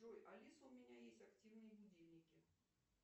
джой алиса у меня есть активные будильники